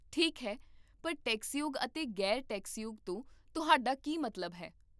ਠੀਕ ਹੈ, ਪਰ 'ਟੈਕਸਯੋਗ' ਅਤੇ 'ਗ਼ੈਰ ਟੈਕਸਯੋਗ' ਤੋਂ ਤੁਹਾਡਾ ਕੀ ਮਤਲਬ ਹੈ?